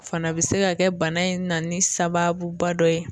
Fana bɛ se ka kɛ bana in na ni sababuba dɔ ye.